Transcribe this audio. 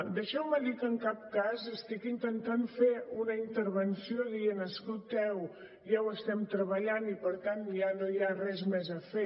deixeu me dir que en cap cas estic intentant fer una intervenció en què digui escolteu ja ho estem treballant i per tant ja no hi ha res més a fer